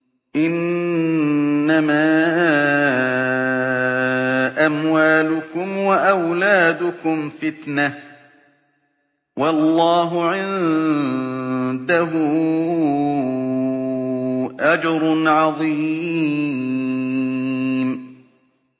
إِنَّمَا أَمْوَالُكُمْ وَأَوْلَادُكُمْ فِتْنَةٌ ۚ وَاللَّهُ عِندَهُ أَجْرٌ عَظِيمٌ